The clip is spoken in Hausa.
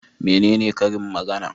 Menene karin magana?